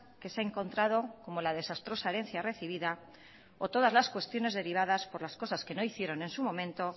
que se ha encontrado como la desastrosa herencia recibida o todas las cuestiones derivadas por las cosas que no hicieron en su momento